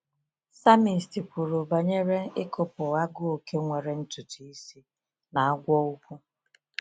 Psalmist kwuru banyere ịkụpụ ‘agụ oke nwere ntutu isi na agwọ ukwu.’